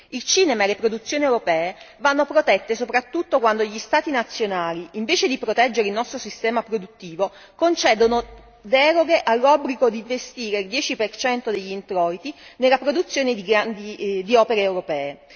Il cinema e le produzioni europee vanno protette soprattutto quando gli Stati nazionali, invece di proteggere il nostro sistema produttivo, concedono deroghe all'obbligo di investire il 10 per cento degli introiti nella produzione di opere europee.